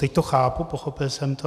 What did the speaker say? Teď to chápu, pochopil jsem to.